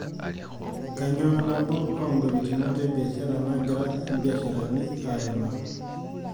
Kainyoo nabo oo ngolikinot e biashara naagira mbiasharani aimaa?